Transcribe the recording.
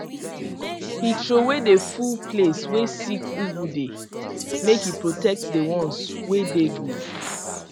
he throwaway the full place way sick ugu dey make e protect the ones wey dey good